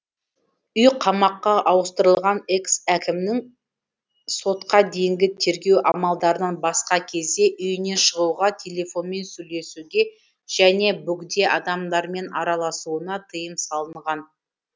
үй қамаққа ауыстырылған экс әкімнің сотқа дейінгі тергеу амалдарынан басқа кезде үйінен шығуға телефонмен сөйлесуге және бөгде адамдармен араласуына тыйым салынған